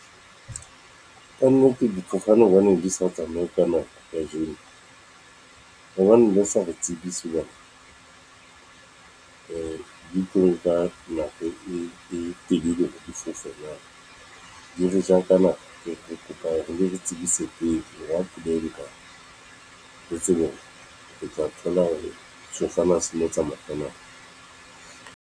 Kannete difofane hobane di sa tsamaye ka nako kajeno. Hobaneng le sa re tsebise hoba di tlo nka nako e telele difofe na. Di re ja ka nako, re kopa le re tsebise pele hore ha , re tsebe hore re tla thola hore sefofane ha se no tsamaya ka nako.